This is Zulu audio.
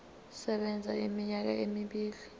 sisebenza iminyaka emibili